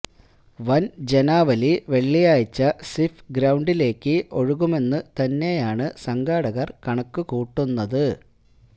van ജനാവലി വെള്ളിയാഴ്ച സിഫ് ഗ്രൌണ്ടിലേക്ക് ഒഴുകുമെന്ന് തന്നെയാണു സംഘാടകര് കണക്കു കൂട്ടുന്നത്